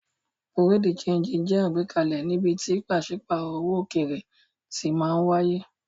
Bùréáù de ṣéńjì jẹ́ àgbékalẹ̀ níbi tí pàṣípàrọ̀ owó òkèèrè ti máa wáyé.